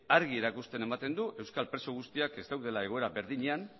argi erakustera ematen du euskal preso guztiak ez daudela egoera berdinean